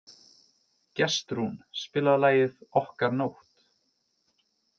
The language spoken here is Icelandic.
Gestrún, spilaðu lagið „Okkar nótt“.